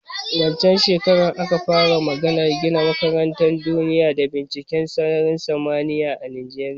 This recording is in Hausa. Wancen shekaran aka fara maganar gina makarantan duniya da binciken sararin samaniya a Najeriya